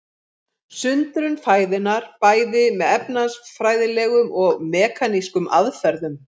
Sundrun fæðunnar bæði með efnafræðilegum og mekanískum aðferðum.